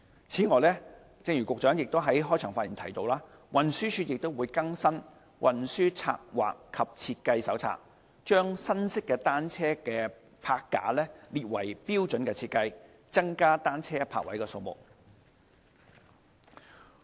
此外，正如局長在開場發言提到，運輸署亦已更新《運輸策劃及設計手冊》，將新式單車泊架列為標準設計，增加單車泊位的數目。